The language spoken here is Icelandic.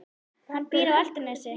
Hann býr á Álftanesi.